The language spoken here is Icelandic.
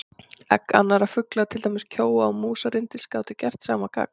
Egg annarra fugla, til dæmis kjóa og músarrindils, gátu gert sama gagn.